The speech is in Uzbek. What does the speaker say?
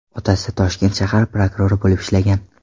Otasi Toshkent shahar prokurori bo‘lib ishlagan.